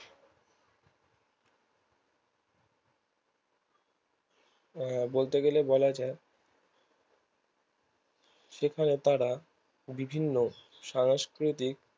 আহ বলতে গেলে বলা যায় সেখানে তারা বিভিন্ন সংস্কৃতিক